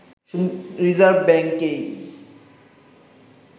reserve ব্যাঙ্ককেই